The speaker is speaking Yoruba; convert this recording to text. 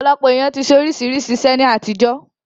Ọ̀pọ̀lọpọ̀ èèyàn ti ṣe oríṣiríṣi iṣẹ́ ní àtijọ́